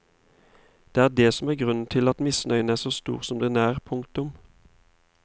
Det er det som er grunnen til at misnøyen er så stor som den er. punktum